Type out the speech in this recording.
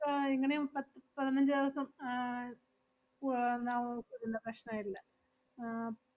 ഏർ എങ്ങനെ~ പത്~ പതിനഞ്ച് ദെവസം ആഹ് വ~ ഏർ എന്ത പ്രശ്നയില്ല.